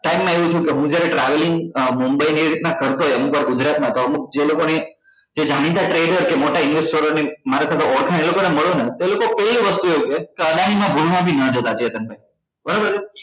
time માં એવું થયું કે હું જ્યારે traveling અમ mumbai ને એ રીત ના કરતો હોય ને અમુક વાર ગુજરાત માં તો અમુક જે લોકો ને જે જાણીતા trader કે મોટા investor ની મારી સાથે ઓળખાણ એ લોકો ને મળું હું એ લોકો એવી વસ્તુ એ કે કે અદાની માં ભૂલમાં બી નાં જતા ચેતન ભાઈ બરોબર છે